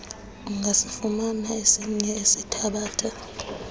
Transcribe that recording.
ungasifumana esinye esithabatha